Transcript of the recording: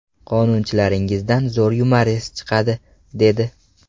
Qonunchilaringizdan zo‘r yumorist chiqadi, dedi.